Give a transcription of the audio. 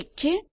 ઠીક છે